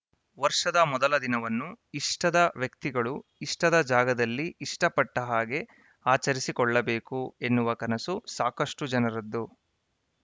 ವರ್ಷದ ಮೊದಲ ದಿನವನ್ನು ಇಷ್ಟದ ವ್ಯಕ್ತಿಗಳು ಇಷ್ಟದ ಜಾಗದಲ್ಲಿ ಇಷ್ಟಪಟ್ಟಹಾಗೆ ಆಚರಿಸಿಕೊಳ್ಳಬೇಕು ಎನ್ನುವ ಕನಸು ಸಾಕಷ್ಟುಜನರದ್ದು